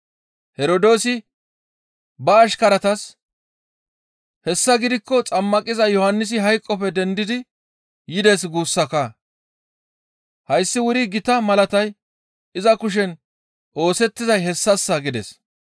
Herdoosi ba ashkaratas, «Hessa gidikko Xammaqiza Yohannisi hayqoppe dendidi yides guussakaa! Hayssi wuri gita malaatay iza kushen oosettizay hessassa» gides.